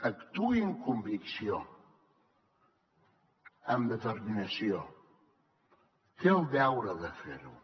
actuï amb convicció amb determinació té el deure de fer ho